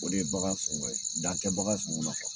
O de ye bagan sɔngɔ ye, dan tɛ bagan sɔngɔ la kuwa.